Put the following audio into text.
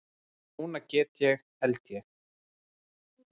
Núna get ég. held ég.